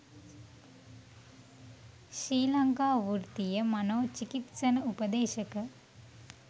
ශ්‍රී ලංකා වෘතීය මනෝ චිකිත්සන උපදේශක